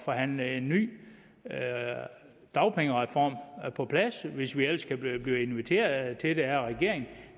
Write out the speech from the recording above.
forhandle en ny dagpengereform på plads hvis vi ellers kan blive inviteret til det af regeringen